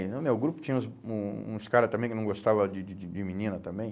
no meu grupo tinha uns um uns caras também que não gostavam de de de de menina também.